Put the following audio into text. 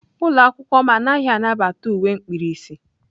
Ụlọ akwụkwọ m anaghị anabata uwe mkpirisi.